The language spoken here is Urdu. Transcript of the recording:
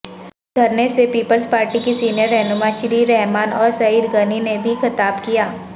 دھرنے سے پیپلزپارٹی کی سینئر رہنماء شیری رحمان اور سعید غنی نے بھی خطاب کیا